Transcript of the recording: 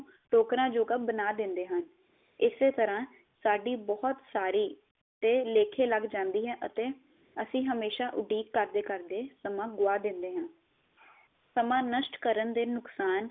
ਟੋਕਰਾ ਯੋਗਾ ਬਣਾ ਦਿੰਦੇ ਹਾਂ ਇਸੇ ਤਰਾਂ ਸਾਡੀ ਬਹੁਤ ਸਾਰੀ ਤੇ ਲੇਖੇ ਲੱਗ ਜਾਂਦੀ ਹੈ ਅਤੇ ਅਸੀਂ ਹਮੇਸ਼ਾ ਉਡੀਕ ਕਰਦੇ ਕਰਦੇ ਸਮਾਂ ਗੁਆ ਦਿੰਦੇ ਹਾਂ ਸਮਾਂ ਨਸ਼ਟ ਕਰਨ ਦੇ ਨੁਕਸਾਨ